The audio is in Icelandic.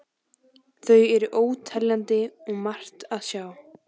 Þau eru óteljandi og margt að sjá.